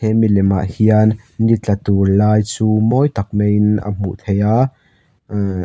he milem ah hian ni tla tur lai chu mawi tak maiin a hmuh theih a aah --